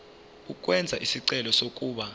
ukwenza isicelo sokuba